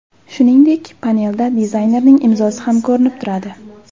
Shuningdek, panelda dizaynerning imzosi ham ko‘rinib turadi.